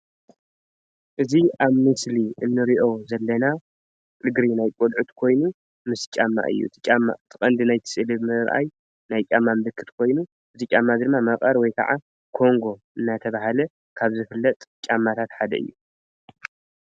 እዚ ኣብ ምስሊ እንሪኦ ዘለና እግሪ ናይ ቆልዑት ኮይኑ ምስ ጫማ እዩ:: እቲ ቀንዲ ናይቲ ስእሊ ንምርኣይ ናይ ጫማ ምልክት ኮይኑ እዚ ጫማ ድማ መቀር ወይ ከዓ ኮንጎ እናተብሃለ ካብ ዝፍለጥ ጫማታት ሓደ እዩ::